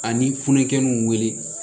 Ani funukɛnuw wele